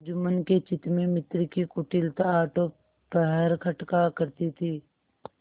जुम्मन के चित्त में मित्र की कुटिलता आठों पहर खटका करती थी